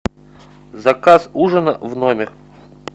заказ ужина в номер